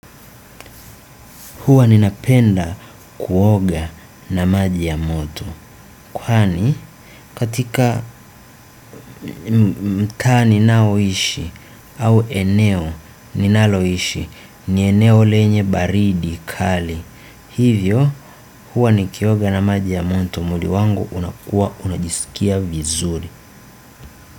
Huwa ninapenda kuoga na maji ya moto. Kwani katika mtaa ninaoishi au eneo ninaloishi ni eneo lenye baridi kali. Hivyo huwa nikioga na maji ya moto mwili wangu unakua unajisikia vizuri.